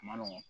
A ma nɔgɔn